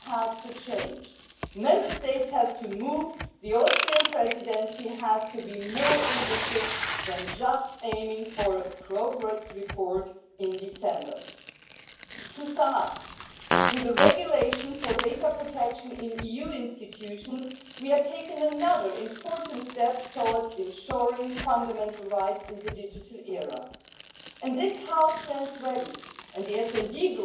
Frau Präsidentin, liebe Kolleginnen und Kollegen! Dieselben Regeln, die für Unternehmen und Behörden in den Mitgliedstaaten gelten, sollen auch für die EU Institutionen gelten. Daher ist es gut, dass nach der Datenschutzgrundverordnung nun auch die Verordnung für den Datenschutz in den EU Institutionen und Agenturen modernisiert wird. Inhaltlich war dieses